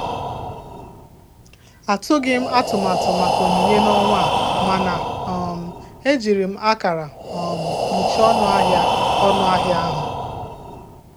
Atụghị m atụmatụ maka onyinye n'ọnwa a, mana um ejiri m akara um kpuchie ọnụ ahịa ọnụ ahịa ahụ.